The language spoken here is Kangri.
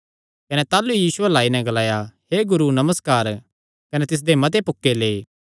कने ताह़लू ई यीशु अल्ल आई नैं ग्लाया हे गुरू नमस्कार कने तिसदे मते पुक्के लै